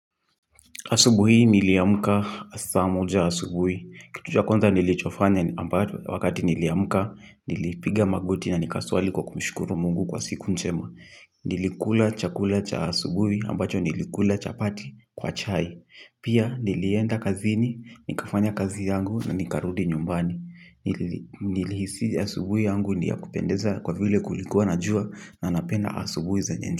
Asubuhi niliamka saa moja asubuhi. Kitu cha kwanza nilichofanya wakati niliamka, nilipiga magoti na nikasali kwa kumshukuru Mungu kwa siku njema. Nilikula chakula cha asubuhi ambacho nilikula chapati kwa chai. Pia nilienda kazini, nikafanya kazi yangu na nikarudi nyumbani. Nilihisi asubuhi yangu ni ya kupendeza kwa vile kulikuwa na jua na napenda asubuhi zenye jua.